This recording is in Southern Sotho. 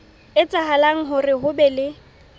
etsahala hore ho be le